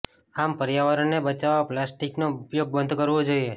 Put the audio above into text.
આમ પર્યાવરણને બચાવવા પ્લાસ્ટિકનો ઉપયોગ બંધ કરવો જોઇએ